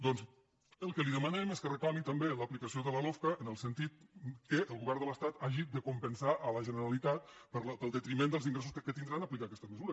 doncs el que li demanem és que reclami també l’aplicació de la lofca en el sentit que el govern de l’estat hagi de compensar la generalitat pel detriment dels ingressos que tindrà en aplicar aquesta mesura